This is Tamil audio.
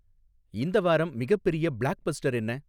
இந்த வாரம் மிகப்பெரிய பிளாக்பஸ்டர் என்ன